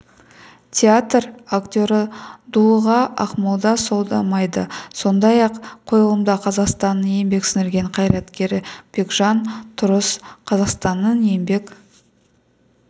театр актері дулыға ақмолда сомдайды сондай-ақ қойылымда қазақстанның еңбек сіңірген қайраткері бекжан тұрыс қазақстанның еңбек